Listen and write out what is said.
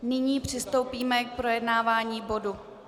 Nyní přistoupíme k projednávání bodu